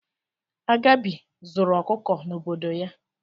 Agabi zuru ọkụkọ n'obodo ya.